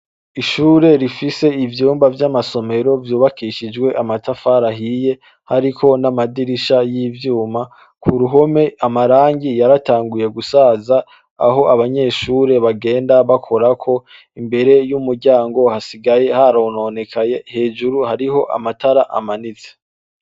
Ishure rifise ivyumba vyamasomero vyubakishijwe amatafari ahiye hariko n’amadirisha yivyuma, kuruhome amarangi yaratanguye gusaza aho abanyeshure baganda bakorako imbere yumuryango hasigay harononekaye hejuru hariho amatara amanite.